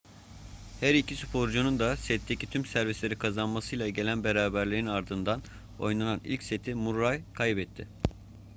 her iki sporcunun da setteki tüm servisleri kazanmasıyla gelen beraberliğin ardından oynanan ilk seti murray kaybetti